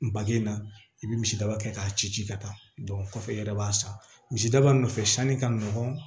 Bagen na i bɛ misidaba kɛ k'a ci ci ka taa kɔfɛ i yɛrɛ b'a san misidaba nɔfɛ sanni ka nɔgɔn